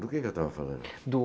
Do que que eu estava falando? Do